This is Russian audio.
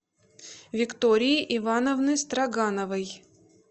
виктории ивановны строгановой